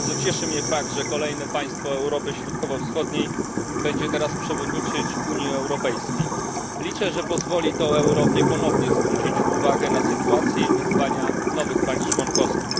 Bardzo cieszy mnie fakt, że kolejne państwo Europy Środkowo Wschodniej będzie teraz przewodniczyć Unii Europejskiej. Liczę, że pozwoli to Europie ponownie zwrócić uwagę na sytuację i wyzwania nowych państw członkowskich.